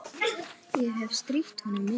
Ég hefi strítt honum mikið.